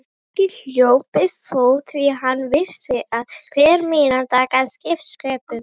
Nikki hljóp við fót því hann vissi að hver mínúta gat skipt sköpum.